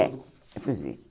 É, é fugir.